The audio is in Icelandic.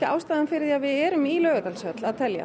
ástæðan fyrir því að við erum í Laugardalshöll að telja